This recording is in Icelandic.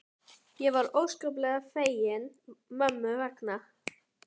Ég var óskaplega fegin mömmu vegna.